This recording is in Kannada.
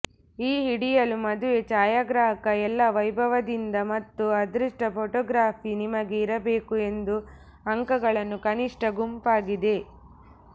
ಈ ಹಿಡಿಯಲು ಮದುವೆ ಛಾಯಾಗ್ರಾಹಕ ಎಲ್ಲಾ ವೈಭವದಿಂದ ಮತ್ತು ಅದೃಷ್ಟ ಫೋಟೋಗ್ರಾಫಿ ನಿಮಗೆ ಇರಬೇಕು ಎಂದು ಅಂಕಗಳನ್ನು ಕನಿಷ್ಠ ಗುಂಪಾಗಿದೆ